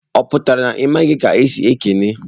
Oputara na I maghị ka esi ekene?